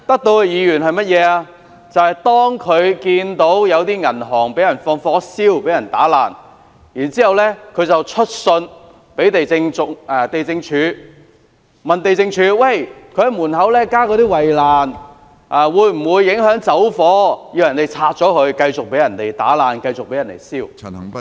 他們選出的議員看到有銀行遭人縱火和破壞，還去信地政總署查詢，銀行在門外加建圍欄會否影響火警時逃生，要求銀行拆除，讓銀行繼續遭人破壞、縱火。